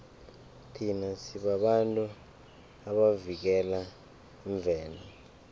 thina sibabantu abavikela imvelo